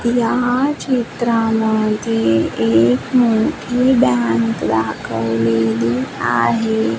या चित्रामध्ये एक मोठी बँक दाखवलेली आहे.